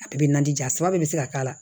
A bɛɛ bɛ na di a saba bɛɛ bɛ se ka k'a la